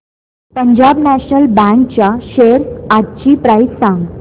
Punjab National Bank च्या shares आजची price सांगा